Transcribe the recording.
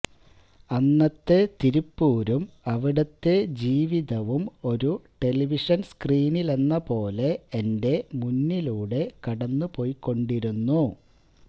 അന്നത്തെ തിരുപ്പൂരും അവിടത്തെ ജീവിതവും ഒരു ടെലിവിഷന് സ്ക്രീനിലെന്നപോലെ എന്റെ മുന്നിലൂടെ കടന്നുപൊയ്ക്കൊണ്ടിരുന്നു